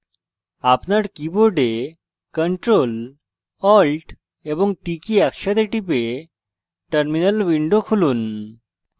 আপনার keyboard ctrl alt এবং t key একসাথে টিপে terminal window খুলুন